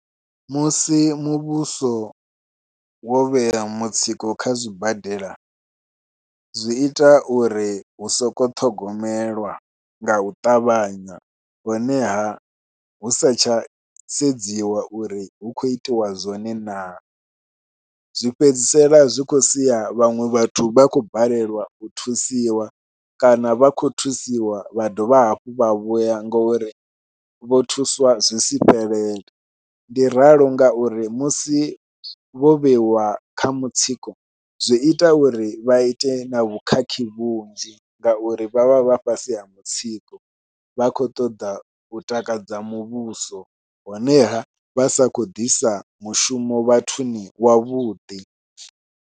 Musi muvhuso wo vhea mutsiko kha zwibadela, zwi ita uri hu sokou ṱhogomelwa nga u ṱavhanya honeha hu satsha sedziwa uri hu khou itiwa zwone naa, zwi fhedzisela zwi khou sia vhaṅwe vhathu vha khou balelwa u thusiwa kana vha khou thusiwa vha dovha hafhu vha vhuya ngori vho thusiwa zwisi fhelele. Ndi ralo ngauri musi vho vheiwa kha mutsiko zwi ita uri vha ite na vhukhakhi vhunzhi ngauri vha vha vha fhasi ha mutsiko vha khou ṱoḓa u takadza muvhuso honeha vha sa khou ḓisa mushumo vhathuni wavhuḓi.